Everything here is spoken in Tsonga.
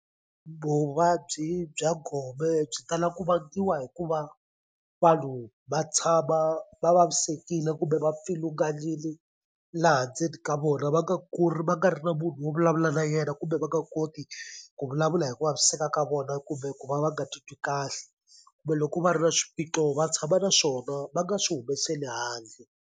Vuvabyi bya gome byi tala ku vangiwa hikuva vanhu va tshama va vavisekile kumbe va pfilunganili laha ndzeni ka vona va nga va nga ri na munhu wo vulavula na yena kumbe va nga koti ku vulavula hi ku vaviseka ka vona kumbe ku va va nga titwi kahle kumbe loko va ri na swiphiqo va tshama na swona va nga swi humeseli handle.